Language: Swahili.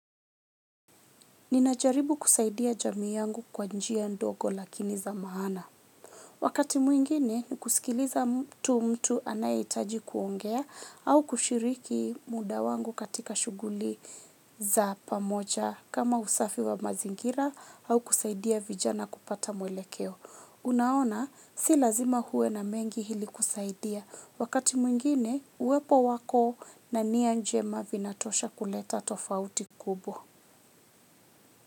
Ninajaribu kusaidia jamii yangu kwa njia ndogo lakini za maana. Wakati mwingine, kusikiliza mtu mtu anaitaji kuongea au kushiriki muda wangu katika shuguli za pamoja kama usafi wa mazingira au kusaidia vijana kupata mwelekeo. Unaona, si lazima huwe na mengi hili kusaidia. Wakati mwingine, uwepo wako na nia njema vinatosha kuleta tofauti kubwa.